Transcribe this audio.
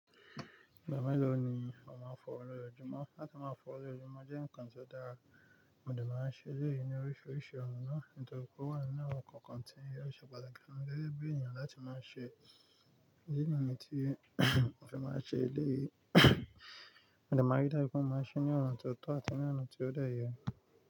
Ìgbà mélòó ni ọmọ á fọwọ́ lójoojúmọ́? Láti máa fọwọ́ lójoojúmọ́ jẹ́ nǹkan tí ó dára, modẹ máa ń ṣe èlé yìí ní oríṣiríṣi ọ̀ràn náà, nitoripe o wà nínú àwọn kọ̀ọ̀kan tí yóò ṣe pàtàkì fún gẹ́gẹ́ bí ènìyàn láti máa ṣe idi niyẹn tí mo fẹ máa ṣe eléyìí. Modẹ márídájú pé ó máa ṣí ní ọ̀ràn tó tó àti ní ọ̀nà tí ó dá yẹ.